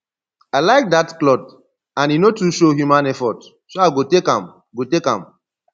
i like dat cloth and e no too show human effort so i go take am go take am